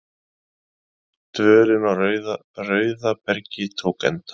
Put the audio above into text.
Dvölin á Rauðabergi tók enda.